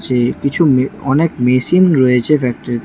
এই কিছু মে অনেক মেশিন রয়েছে ফ্যাক্টরিতে।